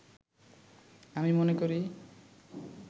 আমি মনে করি